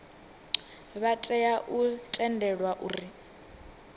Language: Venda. vha tea u tendelwa u